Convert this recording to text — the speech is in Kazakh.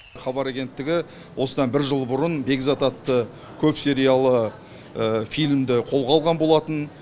хабар агенттігі осыдан бір жыл бұрын бекзат атты көпсериялы фильмді қолға алған болатын